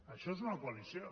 això és una coalició